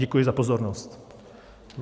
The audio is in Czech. Děkuji za pozornost.